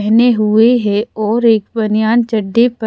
पहने हुए है और एक बनियान चड्डी प--